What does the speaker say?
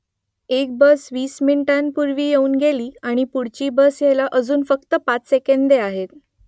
एक बस वीस मिनिटांपूर्वी येऊन गेली आणि पुढची बस यायला अजून फक्त पाच सेकंदे आहेत